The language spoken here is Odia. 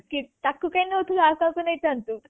ଅଙ୍କିତ୍ ତାକୁ କାଇଁ ନଉଥିଲୁ ଆଉ କାହାକୁ ନେଇଥାନ୍ତୁ